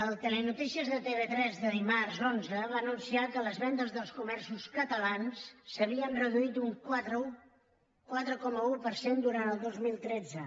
el telenotícies de tv3 del dimarts onze va anunciar que les vendes dels comerços catalans s’havien reduït un quatre coma un per cent durant el dos mil tretze